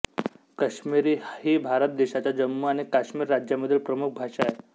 काश्मिरी ही भारत देशाच्या जम्मू आणि काश्मीर राज्यामधील प्रमुख भाषा आहे